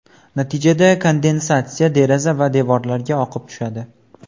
Natijada kondensatsiya deraza va devorlarga oqib tushadi.